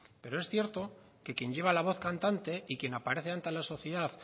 pero es cierto que quien lleva la voz cantante y quien aparece ante la sociedad